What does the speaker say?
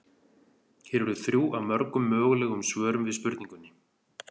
Hér eru þrjú af mörgum mögulegum svörum við spurningunni.